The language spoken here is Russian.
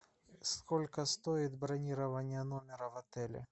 сколько стоит бронирование номера в отеле